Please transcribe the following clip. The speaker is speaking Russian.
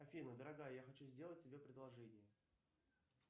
афина дорогая я хочу сделать тебе предложение